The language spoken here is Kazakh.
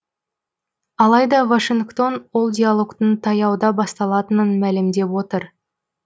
алайда вашингтон ол диалогтың таяуда басталатынын мәлімдеп отыр